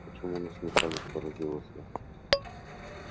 почему насмехались поразился я